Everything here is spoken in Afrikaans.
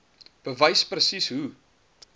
bewys presies hoe